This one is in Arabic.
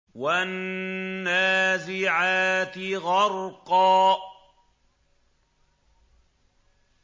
وَالنَّازِعَاتِ غَرْقًا